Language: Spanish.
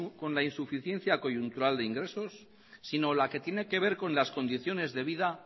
con la insuficiencia coyuntural de ingresos sino la que tiene que ver con las condiciones de vida